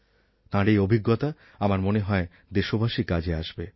তার এই অভিজ্ঞতা আমার মনে হয় দেশবাসীর কাজে আসবে